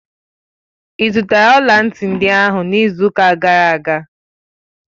Ị zụtara ọla ntị ndị ahụ n'izu ụka gara aga?